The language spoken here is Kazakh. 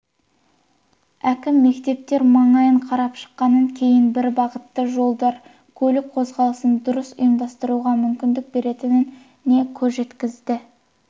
әкім мектептер маңайын қарап шыққаннан кейін бірбағытты жолдар көлік қозғалысын дұрыс ұйымдастыруға мүмкіндік беретініне көзі жеткенін